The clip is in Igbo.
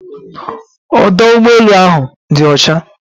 Ọdụ ụgbọelu áhù dị ọcha